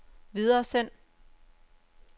videresend